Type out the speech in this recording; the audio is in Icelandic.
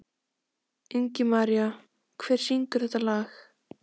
Ingimaría, hver syngur þetta lag?